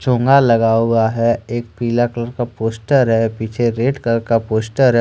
टोंगा लगाया हुआ है। एक पीला कलर का पोस्टर है। पीछे रेड कलर का पोस्टर है।